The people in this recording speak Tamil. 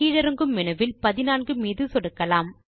கீழிறங்கும் மேனு வில் 14 மீது சொடுக்கலாம்